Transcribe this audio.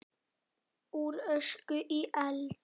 Úr ösku í eld?